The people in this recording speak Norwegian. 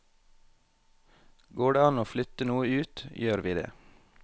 Går det an å flytte noe ut, gjør vi det.